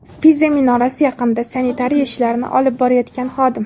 Piza minorasi yaqinida sanitariya ishlarini olib borayotgan xodim.